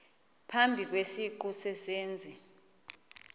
phambi kwesiqu sezenzi